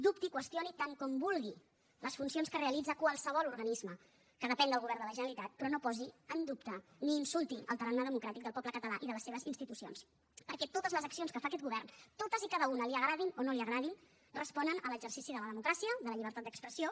dubti qüestioni tant com vulgui les funcions que realitza qualsevol organisme que depèn del govern de la generalitat però no posi en dubte ni insulti el tarannà democràtic del poble català i de les seves institucions perquè totes les accions que fa aquest govern totes i cada una li agradin o no li agradin responen a l’exercici de la democràcia de la llibertat d’expressió